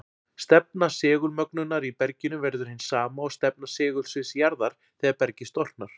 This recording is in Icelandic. Stefna segulmögnunar í berginu verður hin sama og stefna segulsviðs jarðar þegar bergið storknar.